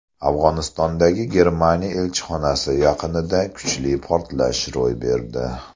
Afg‘onistondagi Germaniya elchixonasi yaqinida kuchli portlash ro‘y berdi.